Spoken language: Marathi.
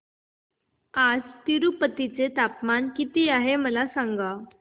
आज तिरूपती चे तापमान किती आहे मला सांगा